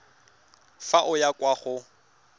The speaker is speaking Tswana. fa o ya kwa go